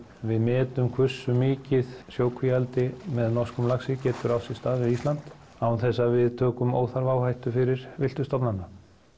við metum hvursu mikið sjókvíaeldi með norskum laxi getur átt sér stað við Ísland án þess að við tökum óþarfa áhættu fyrir villtu stofnana